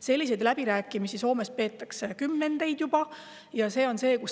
Selliseid läbirääkimisi peetakse Soomes juba kümnendeid.